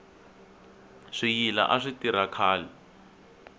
swiyila a swi tirha khale